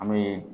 An bɛ